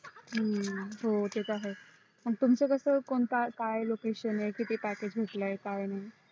हम्म ते तर आहेच तुमच कस कोणत काय location आहे किती package भेटलोय काय